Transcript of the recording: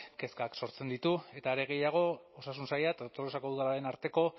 kezkak sortzen ditu eta are gehiago osasun saila eta tolosako udalaren arteko